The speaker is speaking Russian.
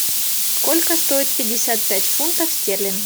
сколько стоит пятьдесят пять фунтов